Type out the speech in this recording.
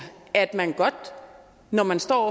at man godt når man står